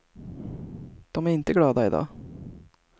De är inte glada i dag.